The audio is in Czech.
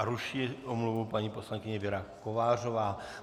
A ruší omluvu paní poslankyně Věra Kovářová.